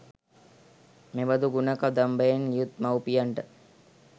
මෙබඳු ගුණ කදම්බයෙන් යුත් මව්පියන්ට